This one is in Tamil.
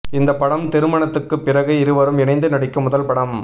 இந்தப் படம் திருமணத்துக்குப் பிறகு இருவரும் இணைந்து நடிக்கும் முதல் படம்